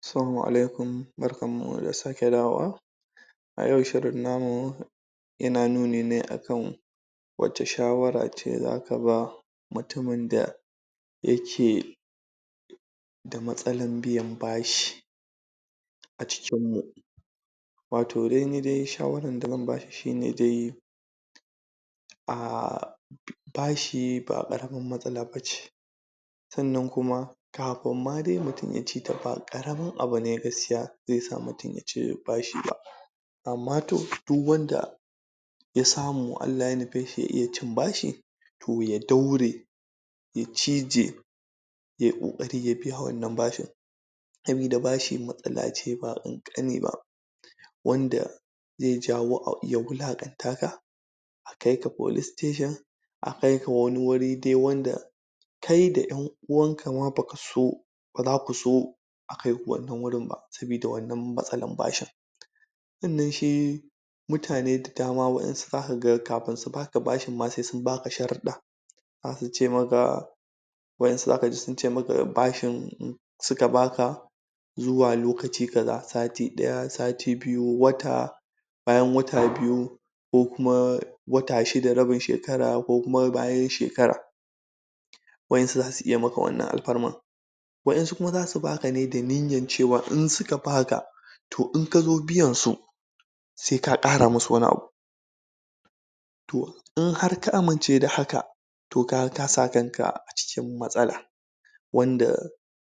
Salamu alaikum! Barkan mu da sake dawowa. A yau shirin namu ya na nuni ne a kan wace shawara ce zaka ba mutumin da ya ke da matsalan biyan bashi a cikin mu, wato dai ni dai shawaran da zan ba shi shine dai a... bashi ba ƙaramin matsala ba ce sannan kuma kafin ma dai mutum ya ci ta ba ba ƙaramin abu ne gaskiya zai sa mutum ya ci bashi ba, amma to duk wanda ya samu Allah ya nufe shi ya iya cin bashi to ya daure ya cije yai ƙoƙari ya biya wannan bashin, sabida bashi matsalace ba ƙanƙani ba wanda zai jawo a iya wulaƙantaka, a kaika police station, a kaika wani wuri dai wanda kai da 'yan uwanka ma baka so ba zaku so a kaiku wannan wurin ba, sabida wannan matsalan bashin, sannan shi mutane da dama waɗansu za kaga kafin su baka bashin ma sai baka sharuɗɗa za su ce maka waɗansu zaka ji sun ce maka bashin... suka baka zuwa lokaci kaza sati ɗaya, sati biyu, wata, bayan wata biyu, ko kuma wata shida rabin shekara, ko kuma bayan shekara, waɗansu za su iya maka wannan alfarman, waɗansu kuma zasu baka ne da niyyan ce wa in suka baka to in kazo biyansu sai ka ƙara masu wani abu, to in har ka amince da haka to kaga ka sa kanka a cikin matsala, wanda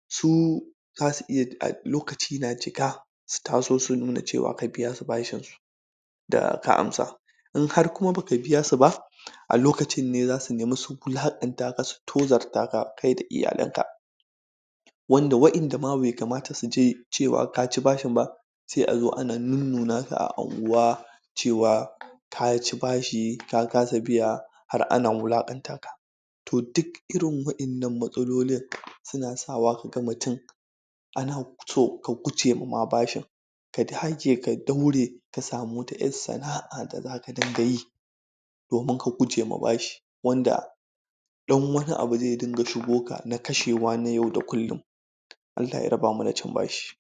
su zasu iya da lokaci na cika su taso su nuna ce wa ka biya su bashinsu da ka amsa, in har kuma baka biya su ba, a lokacin ne zasu nemi su wulaƙantaka, su tozartaka kai da italanka, wanda waɗanda ma bai kamata su ji ce wa kaci bashin ba sai a zo ana nunnunaka a unguwa ce wa kaci bashi ka kasa biya har ana wulaƙantaka, to duk irin waɗannan matsalolin su na sawa kaga mutum ana so ka gujema ma bashin ka dage ka daure ka samu wata 'yar sana'a da zaka dinga yi domin ka guje ma bashi, wanda ɗan wani abu zai dinga shigo ka na kashewa na yau da kullum, Allah ya rabamu da cin bashi.